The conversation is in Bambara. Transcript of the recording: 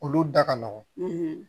Olu da ka nɔgɔn